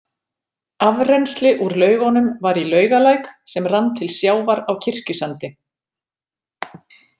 Afrennsli úr laugunum var í Laugalæk sem rann til sjávar á Kirkjusandi.